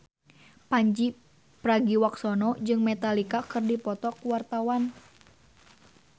Pandji Pragiwaksono jeung Metallica keur dipoto ku wartawan